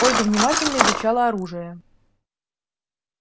ольга внимательно изучала оружие